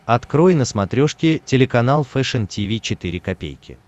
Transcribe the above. открой на смотрешке телеканал фэшн ти ви четыре ка